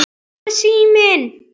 Hvar er síminn?